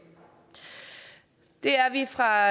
det er vi fra